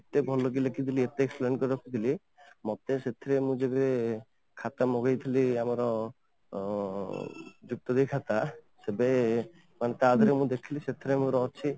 ଏତେ ଭଲ କି ଲେଖିଥିଲି ଏତେ explain କରିକି ରଖିଥିଲି ମତେ ସେଇଥିରେ ମୁଁ ଯେବେ ଖାତା ମଗେଇଥିଲି ଆମର ଅଂ ଖାତା ତେବେ ମାନେ ତା ଆଗରୁ ମୁଁ ଦେଖିଥିଲି ସେଇଥିରେ ମୋର ଅଛି